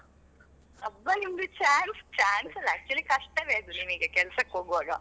ಅಬ್ಬಾ ನಿಮಗೆ chance, chance ಅಲ್ಲ actually ಕಷ್ಟವೇ ಅದು ನಿಮಗೆ ಕೆಲ್ಸಕ್ಕೆ ಹೋಗುವಾಗ.